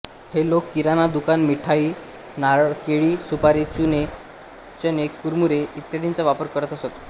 हे लोक किराणा दुकान मिठाई नारळ केळी सुपारी चणे कुरूमुरे इत्यादींचा व्यापार करत असत